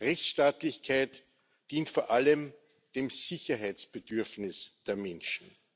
Rechtsstaatlichkeit dient vor allem dem Sicherheitsbedürfnis der Menschen.